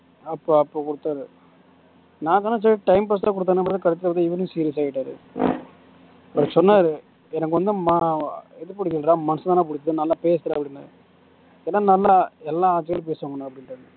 அப்போ அப்போ கொடுத்தது நான் நினனிச்சேன் time pass க்கு தான் கொடுத்தான்னு அப்பறம் பாத்தா கடைசில பாத்தா இவரும் serious ஆயிட்டார் சொன்னார் எனக்கு வந்து இது புடிக்கலடா தான்டா புடிச்சிருக்கு நல்லா பேசுறா அப்படீன்னார் ஏன்னா நல்லா எல்லா பேசுவாங்க அப்ப்டீன்னுட்டார்